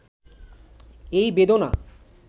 এই বেদনা